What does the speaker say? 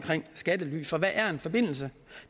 skattely for hvad er en forbindelse